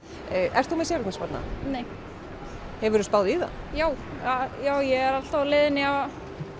ert þú með séreignarsparnað nei hefuru spáð í það já já ég er alltaf á leiðinni að